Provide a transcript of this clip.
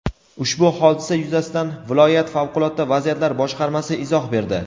Ushbu hodisa yuzasidan viloyat Favqulodda vaziyatlar boshqarmasi izoh berdi.